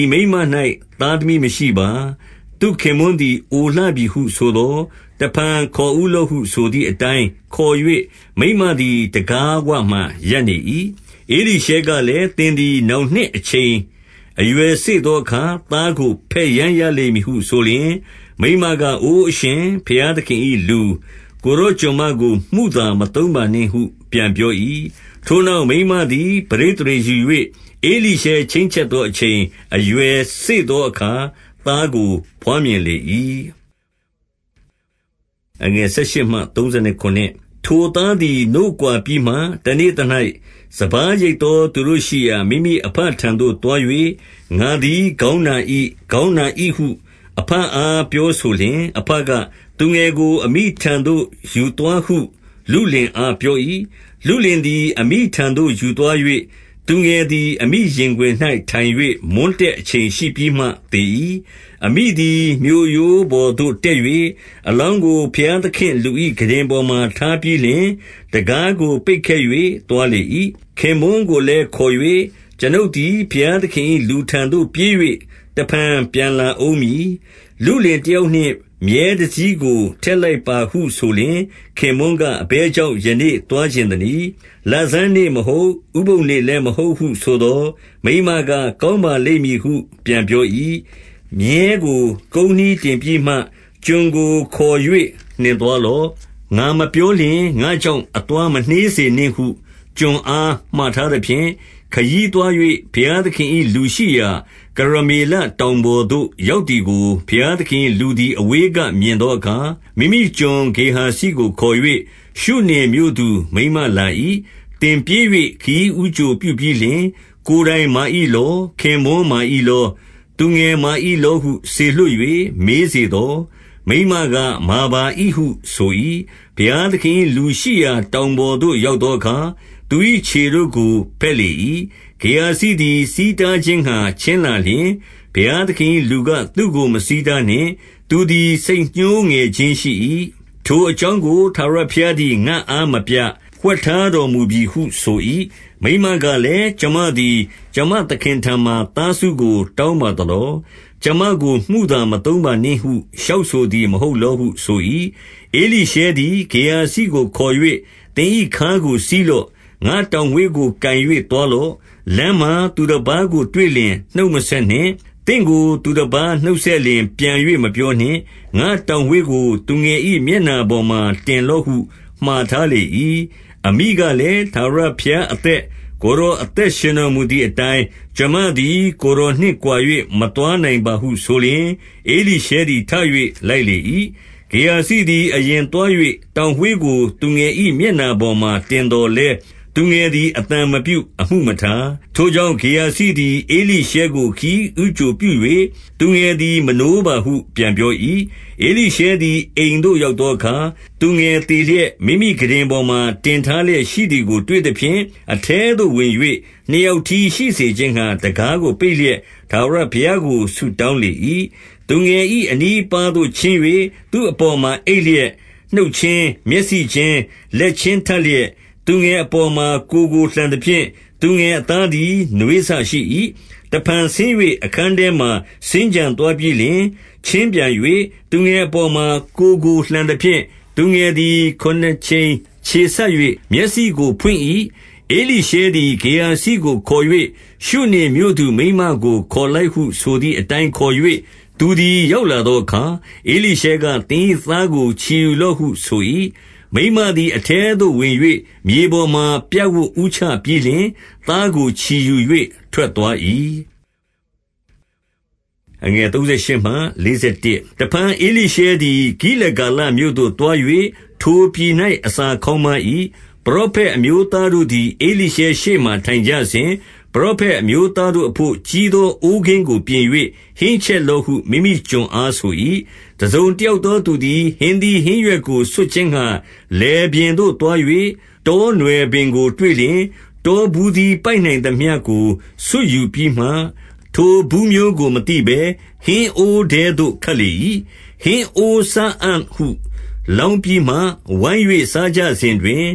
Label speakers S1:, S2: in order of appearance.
S1: ဤမိန်းမ ၌ သားသမီးမရှိပါ။ သူ့ခင်ပွန်းလည်း အိုလှပြီဟု ဆိုသော်၊ 15 တဖန်ခေါ်ဦးလော့ဟုဆိုသည်အတိုင်း ခေါ်၍၊ မိန်းမသည် တံခါးဝမှာရပ်နေ၏။ 16 ဧလိရှဲကလည်း၊ သင်သည် နောင်နှစ်အချိန် အရွယ်စေ့သောအခါ သားကို ဘက်ယမ်းရလိမ့်မည်ဟု ဆိုလျှင်၊ မိန်းမက အိုအရှင်၊ဘုရားသခင်၏လူ၊ ကိုယ်တော် ကျွန်မကို မုသာမသုံးပါနှင့်ဟု ပြန်ပြော၏။ 17 ထိုနောက်မိန်းမသည် ပဋိသန္ဓေယူ၍ ဧလိရှဲ ချိန်းချက်သော အချိန်အရွယ်စေ့သောအခါ သားကို ဘွားမြင်လေ၏။ 18 ထိုသားသည် နို့ကွာပြီးမှ၊ တနေ့သ၌ စပါးရိတ် သောသူတို့ရှိရာ မိမိအဘထံသို့သွား၍၊ 19 ငါသည်ခေါင်းနာ၏။ ခေါင်းနာ၏ဟု အဘအား ပြောဆိုလျှင်၊ အဘက၊ သူငယ်ကို အမိထံသို့ ယူသွားဟု လုလင်အားပြော၏။ 20 လုလင်သည်အမိထံသို့ယူသွား၍၊ သူငယ်သည် အမိရင်ခွင်၌ ထိုင်၍မွန်းတည့်အချိန်ရှိပြီးမှ သေ၏။ 21 အမိသည် မြို့ရိုးပေါ်သို့တက်၍ အလောင်းကို ဘုရားသခင့် လူ၏ခုတင်ပေါ်မှာ ထားပြီးလျှင်၊ တံခါးကို ပိတ်ခဲ့၍ သွားလေ၏။ 22 ခင်ပွန်းကိုလည်းခေါ်၍၊ ကျွန်ုပ်သည် ဘုရား သခင်၏လူထံသို့ ပြေး၍ တဖန်ပြန်လာဦးမည်။ လုလင် တယောက်နှင့်မြည်းတစီးကိုထည့် လိုက်ပါဟုဆိုလျှင်၊ 23 ခင်ပွန်းက၊ အဘယ်ကြောင့် ယနေ့သွားချင် သနည်း။ လဆန်းနေ့မဟုတ်၊ ဥပုသ်နေ့လည်းမဟုတ်ဟု ဆိုသော်၊ မိန်းမက၊ ကောင်းပါလိမ့်မည်ဟု ပြန်ပြော၏။ 24 မြည်းကို ကုန်းနှီးတင်ပြီးမှ ကျွန်ကိုခေါ်၍ နှင်သွားလော့။ ငါမပြောလျှင် ငါ့ကြောင့်အသွား မနှေးစေ နှင့်ဟု ကျွန်အား မှာထားသဖြင့်၊ 25 ခရီးသွား၍ ဘုရားသခင်၏ လူရှိရာ၊ ကရမေလ တောင်ပေါ်သို့ ရောက်သည်ကို ဘုရားသခင်၏ လူသည် အဝေးကမြင်သောအခါ၊ မိမိကျွန် ဂေဟာဇိကိုခေါ်၍၊ ရှုနင်မြို့သူမိန်းမလာ၏။ 26 သင်ပြေး၍ ခရီးဦးကြိုပြုပြီးလျှင်၊ ကိုယ်တိုင်မာ ၏လော။ ခင်ပွန်းမာ၏လော။ သူငယ်မာ၏လောဟု စေလွှတ်၍ မေးစေသော်၊ မိန်းမ ကမာပါ၏ ဟုဆို၏။ 27 ဘုရားသခင်၏ လူရှိရာတောင်ပေါ်သို့ ရောက် သောအခါ၊ သူ၏ ခြေတို့ကို ဘက်လေ၏။ ဂေဟာဇိသည် ဆီးတားခြင်းငှါ ချဉ်းလာလျှင်၊ ဘုရားသခင်၏ လူကသူ့ကို မဆီးတားနှင့်။ သူသည် စိတ်ညှိုးငယ်ခြင်းရှိ၏။ ထို အကြောင်းကို ထာဝရဘုရားသည် ငါ့အားမပြ၊ ဝှက်ထား တော်မူပြီဟုဆို၏။ 28 မိန်းမကလည်း၊ ကျွန်မသည် ကျွန်မသခင်ထံမှာ သားဆုကို တောင်းပါသလော။ ကျွန်မကိုမုသာမသုံးပါ နှင့်ဟု လျှောက်ဆိုသည်မဟုတ်လောဟု ဆို၏။ 29 ဧလိရှဲသည် ဂေဟာဇိကို ခေါ်၍သင်၏ခါးကို စည်းလော့။ ငါ့တောင်ဝေးကို ကိုင်၍ သွားလော့။ လမ်းမှာ သူတပါးတွေ့လျှင် နှုတ်မဆက်နှင့်။ သင့်ကို သူတပါး နှုတ်ဆက်လျှင် ပြန်၍ မပြောနှင့်။ ငါ့တောင်ဝေးကို သူငယ် ၏မျက်နှာပေါ်မှာ တင်လော့ဟု မှာထားလေ၏။ 30 အမိကလည်း၊ ထာဝရဘုရားအသက်၊ကိုယ်တော် အသက်ရှင်တော်မူသည်အတိုင်း၊ ကျွန်မသည် ကိုယ်တော် နှင့်ကွာ၍ မသွားနိုင်ပါဟု ဆိုလျှင်၊ ဧလိရှဲသည် ထ၍ လိုက် လေ၏။ 31 ဂေဟာဇိသည်အရင်သွား၍၊ တောင်ဝေးကို သူငယ်၏မျက်နှာပေါ်မှာတင်သော်လည်း၊ သူငယ်သည် အသံမပြုအမှုမထား။ ထိုကြောင့် ဂေဟာဇိသည်ဧလိရှဲကို ခရီးဦးကြိုပြု၍၊ သူငယ်သည် မနိုးပါဟု ပြန်ပြော၏။ 32 ဧလိရှဲသည် အိမ်သို့ရောက်သောအခါ၊ သူငယ် သေလျက်၊ မိမိခုတင်ပေါ်မှာ တင်ထားလျက်ရှိသည်ကို တွေ့သဖြင့်၊ 33 အထဲသို့ဝင်၍ နှစ်ယောက်တည်းရှိစေခြင်းငှါ တံခါးကိုပိတ်လျက် ထာဝရဘုရားကို ဆုတောင်းလေ၏။ 34 သူငယ်၏အနီးအပါးသို့ ချဉ်း၍၊ သူ့အပေါ်မှာအိပ်လျက်နှုတ်ချင်း၊ မျက်လုံးချင်း၊လက်ချင်းထပ်လျက်၊ သူငယ်အပေါ်မှာ ကိုယ်ကိုလှန်သဖြင့် သူငယ် အသားသည် နွေးစရှိ၏။ 35 တဖန်ဆင်း၍ အခန်းထဲမှာစင်္ကြံသွားပြီးလျှင်၊ ချဉ်းပြန်၍ သူငယ်အပေါ်မှာ ကိုယ်ကို လှသဖြင့်၊ သူငယ် သည် ခုနစ်ကြိမ် ချောဆေး၍ မျက်စိကိုဖွင့်၏။ 36 ဧလိရှဲသည် ဂေဟာဇိကိုခေါ်၍၊ ရှုနင်မြို့သူ မိန်းမကို ခေါ်လိုက်ဟုဆိုသည်အတိုင်းခေါ်၍ သူသည် ရောက်လာသောအခါ၊ ဧလိရှဲက သင်၏သားကို ချီယူ လော့ဟု ဆို၏။ 37 မိန်းမသည်အထဲသို့ဝင်၍၊ မြေပေါ်မှာ ပြပ်ဝပ် ဦးချပြီးလျှင် သားကိုချီယူ၍ထွက်သွား၏။ 38 တဖန်ဧလိရှဲသည် ဂိလဂါလမြို့သို့သွား၍၊ ထိုပြည်၌ အစာခေါင်းပါး၏။ ပရောဖက်အမျိုးသားတို့ သည် ဧလိရှဲရှေ့မှာထိုင်ကြစဉ်၊ ပရောဖက်အမျိုးသားတို့ အဘို့ကြီးသော အိုးကင်းကိုပြင်၍ ဟင်းချက်လော့ဟု မိမိ ကျွန်အားဆို၏။ 39 တစုံတယောက်သော သူသည် ဟင်းသီး ဟင်းရွက်ကို ဆွတ်ခြင်းငှါ လယ်ပြင်သို့သွား၍ တောနွယ် ပင်ကို တွေ့လျှင်၊ တောဘူးသီးပိုက်နိုင်သမျှကို ဆွတ်ယူ ပြီးမှ၊ 40 ထိုဘူးမျိုးကို မသိဘဲဟင်းအိုးထဲသို့ ခတ်လေ၏။ ဟင်းအိုးစားအံ့ဟု လောင်းပြီးမှ ဝိုင်း၍စားကြစဉ်တွင်၊